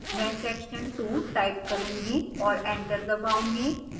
मैं section 2 type करूंगी और enter दबाऊंगी